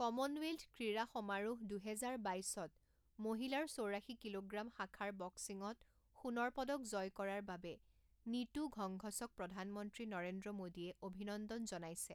Commonwealth ক্ৰীড়া সমাৰোহ দুহেজাৰ বাইছত মহিলাৰ চৌৰাশী কিলোগ্ৰম শাখাৰ বক্সিঙত সোণৰ পদক জয় কৰাৰ বাবে নীতু ঘংঘছক প্ৰধানমন্ত্ৰী নৰেন্দ্ৰ মোদীয়ে অভিনন্দন জনাইছে।